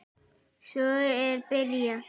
Svo er byrjað.